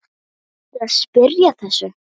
Ertu að spyrja að þessu?